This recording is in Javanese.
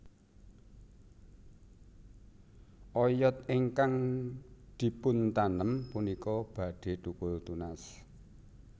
Oyod ingkang dipuntanem punika badhe thukul tunas